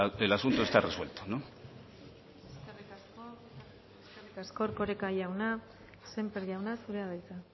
el asunto está resuelto eskerrik asko erkoreka jauna sémper jauna zurea da hitza